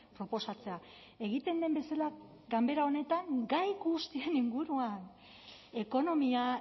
proposatzea egiten den bezala ganbera honetan gai guztien inguruan ekonomia